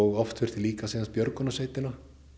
oft þurfti líka björgunarsveitina